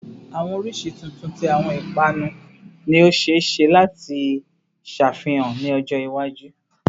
Awọn oriṣi tuntun ti awọn ipanu ni o ṣee ṣe lati ṣafihan ni ọjọ iwaju